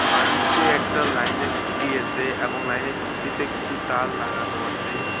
পানিতে একটা লাইন -এর খুঁটি আসে এবং লাইন -এর খুঁটিতে কিছু তার লাগানো আসে।